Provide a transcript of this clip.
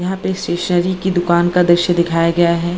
यहाँ पे स्टेशनरी की दुकान का दृश्य दिखाया गया है।